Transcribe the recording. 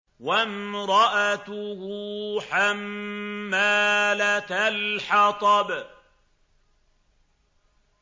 وَامْرَأَتُهُ حَمَّالَةَ الْحَطَبِ